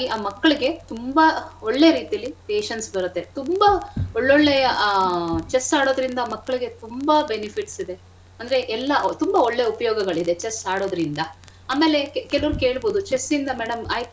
ಹಂಗಾಗಿ ಆ ಮಕ್ಳಿಗೆ ತುಂಬಾ ಒಳ್ಳೆ ರೀತಿಲಿ patience ಬರತ್ತೆ ತುಂಬಾ ಒಳ್ಳೊಳ್ಳೆಯ ಆ chess ಆಡೋದ್ರಿಂದ ಮಕ್ಳಿಗೆ ತುಂಬಾ benefits ಇದೆ ಅಂದ್ರೆ ಎಲ್ಲಾ ತುಂಬಾ ಒಳ್ಳೆ ಉಪ್ಯೋಗಗಳಿದೆ chess ಆಡೋದ್ರಿಂದ. ಆಮೇಲೆ ಕೆಲವ್ರು ಕೇಳ್ಬೋದು chess ಇಂದ madam ಆಯ್ತು.